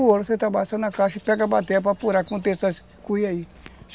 O ouro você trabalha